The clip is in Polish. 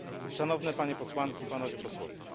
Szanowne Panie Posłanki i Panowie Posłowie!